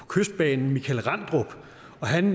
kystbanen michael randrup og han